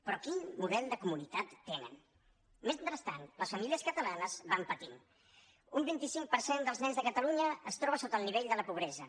però quin model de comunitat tenen mentrestant les famílies catalanes van patint un vint cinc per cent dels nens de catalunya es troba sota el nivell de la pobresa